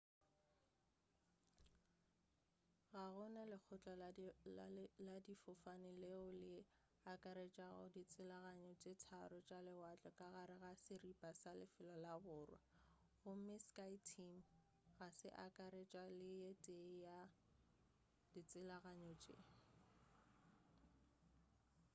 ga gona lekgotla la difofane leo le akaretšago ditshelaganyo tše tharo tša lewatle ka gare ga seripa sa lefelo la borwa gomme skyteam ga se akaretša le ye tee ya ditshelaganyo tše